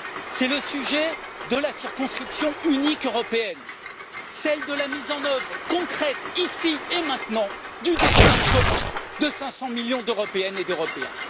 C'est celui de la circonscription unique européenne, celui de la mise en œuvre concrète, ici et maintenant, du destin commun de 500 millions d'Européennes et d'Européens.